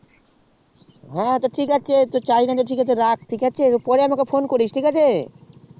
হ্যাঁ রাখ তাহলে পরে আমাকে phone করিস তাহলে ঠিক আছে